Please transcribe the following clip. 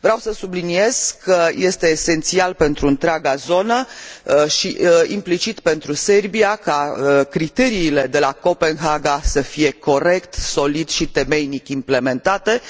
Vreau să subliniez că este esențial pentru întreaga zonă și, implicit, pentru Serbia, ca criteriile de la Copenhaga să fie corect, solid și temeinic implementate,